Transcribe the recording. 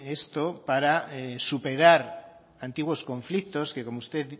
esto para superar antiguos conflictos que como usted